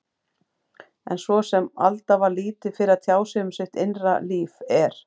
En svo sem Alda var lítið fyrir að tjá sig um sitt innra líf, er